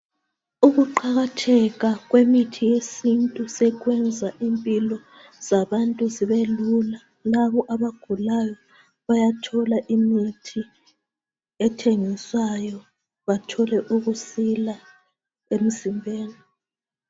Ukuqakatheka kwemithi yesintu sekwenza impilo zabantu zibe lula labo abagulayo bayathole imithi ethengiswayo bathole ukusila emzimbeni.